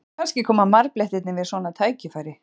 Kannski koma marblettirnir við svona tækifæri?